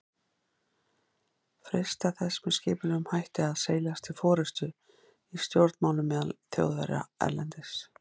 freistað þess með skipulegum hætti að seilast til forystu í stjórnmálum meðal Þjóðverja erlendis.